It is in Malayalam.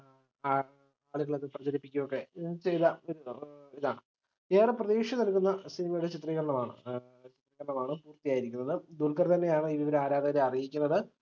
ആളുകളത് പ്രചരിപ്പിക്കൊക്കെ ചെയ്ത ഒര് ഇതാണ് ഏറെ പ്രതീക്ഷ നൽകുന്ന cinema യുടെ ചിത്രീകരണമാണ് പൂർത്തിയായിരിക്കുന്നത് ദുൽഖർ തന്നെയാണ് ഇത് ആരാധകരെ അറിയിക്കുന്നത്